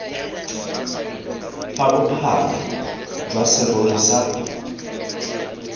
fa bophara jwa serori sa